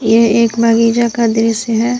यह एक बगीचा का दृश्य है।